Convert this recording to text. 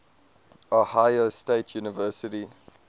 ohio state university